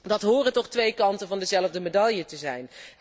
Dat horen toch twee kanten van dezelfde medaille te zijn.